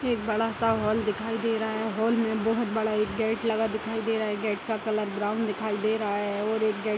एक बड़ा सा हॉल दिखाई दे रहा है हॉल में एक बहुत बड़ा एक गेट लगा दिखाई दे रहा है गेट का कलर ब्राउन दिखाई दे रहा है और एक गेट --